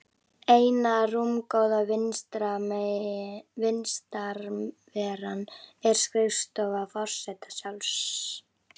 Eina rúmgóða vistarveran er skrifstofa forseta sjálfs.